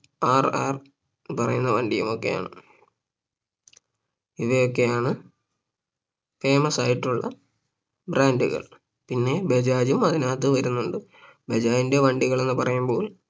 RR പറയുന്ന വണ്ടിയുമൊക്കെയാണ് ഇവയൊക്കെയാണ് Famous ആയിട്ടുള്ള Brand കൾ പിന്നെ ബജാജ് ഉം അതിനകത്ത് വരുന്നുണ്ട് ബജാജിന്റെ വണ്ടികൾ എന്ന് പറയുമ്പോൾ